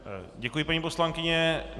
Děkuji, paní poslankyně.